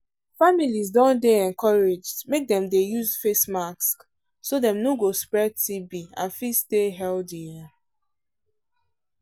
families don dey encouraged make dem dey use face mask so dem no go spread tb and fit stay healthy.